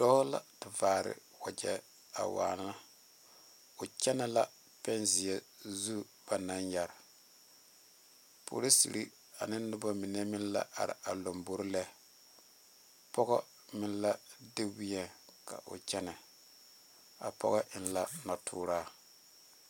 Dɔɔ la vare wagye a wanna o kyɛne la peŋ ziɛ zu ba naŋ yeere poroseere ane noba mine meŋ la are a lanbare lɛ pɔge meŋ la de wɛŋe ka o kyɛne a pɔge eŋ la noɔ turaa.